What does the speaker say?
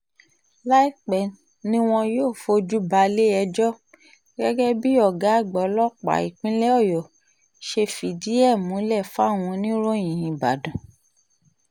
láìpẹ́ ni wọn yóò fojú balẹ̀-ẹjọ́ gẹ́gẹ́ bí ọ̀gá àgbà ọlọ́pàá ìpínlẹ̀ ọ̀yọ́ ṣe fìdí ẹ̀ múlẹ̀ fáwọn oníròyìn nìbàdàn